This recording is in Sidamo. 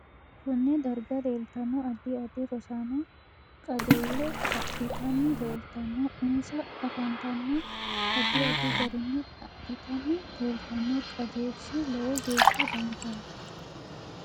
Konne darag leeltanno addi addi rosaano qajeele adhitanni leelitanno insa afantanno addi addi garinni adhitanni leeltanno qajeelishi lowo geesha danchaho